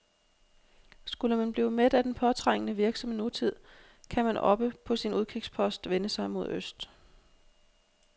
Skulle man blive mæt af den påtrængende, virksomme nutid, kan man oppe på sin udkigspost vende sig mod øst.